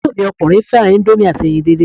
Àbúrò mi ọkùnrin fẹ́ràn íńdómì àti ẹyin dídín.